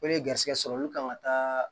Ko ne garisigɛ sɔrɔ olu kan ka taa